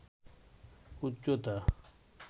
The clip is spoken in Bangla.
উচ্চতা